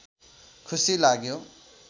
खुसी लाग्यो